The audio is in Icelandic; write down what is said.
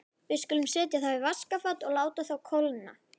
Við skulum setja þá í vaskafat og láta þá kólna.